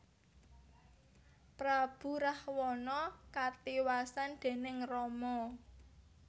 Prabu Rahwana katiwasan déning Rama